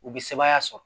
U bɛ sebaaya sɔrɔ